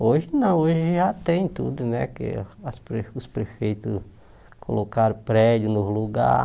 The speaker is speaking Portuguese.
Hoje não, hoje já tem tudo, né, que as pre os prefeitos colocaram prédio no lugar.